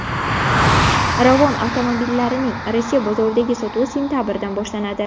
Ravon avtomobillarining Rossiya bozoridagi sotuvi sentabrdan boshlanadi.